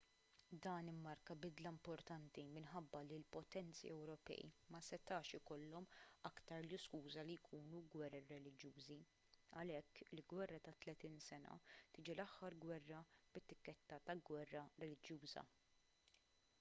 dan immarka bidla importanti minħabba li l-potenzi ewropej ma setax ikollhom aktar l-iskuża li jkunu gwerer reliġjużi għalhekk il-gwerra ta' tletin sena tiġi l-aħħar gwerra bit-tikketta ta' gwerra reliġjuża